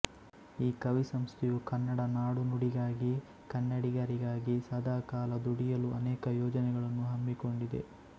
ಈಕವಿ ಸಂಸ್ಥೆಯು ಕನ್ನಡ ನಾಡುನುಡಿಗಾಗಿ ಕನ್ನಡಿಗರಿಗಾಗಿ ಸದಾಕಾಲ ದುಡಿಯಲು ಅನೇಕ ಯೋಜನೆಗಳನ್ನು ಹಮ್ಮಿಕೊಂಡಿದೆ